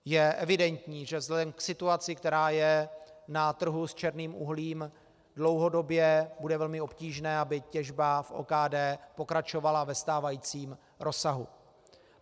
Je evidentní, že vzhledem k situaci, která je na trhu s černým uhlím, dlouhodobě bude velmi obtížné, aby těžba v OKD pokračovala ve stávajícím rozsahu.